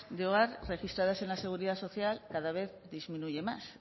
de hogar registradas en la seguridad social cada vez disminuye más